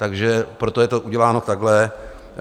Takže proto je to uděláno takhle.